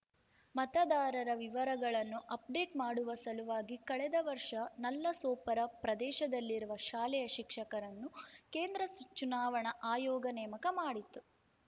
ಮತದಾರರ ವಿವರಗಳನ್ನು ಅಪ್‌ಡೇಟ್ ಮಾಡುವ ಸಲುವಾಗಿ ಕಳೆದ ವರ್ಷ ನಲ್ಲಸೋಪರ ಪ್ರದೇಶದಲ್ಲಿರುವ ಶಾಲೆಯ ಶಿಕ್ಷಕರನ್ನು ಕೇಂದ್ರ ಚುನಾವಣಾ ಆಯೋಗ ನೇಮಕ ಮಾಡಿತ್ತು